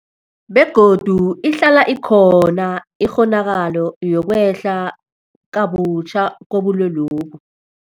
Begodu ihlala ikhona ikghonakalo yokwehla kabutjha kobulwelobu.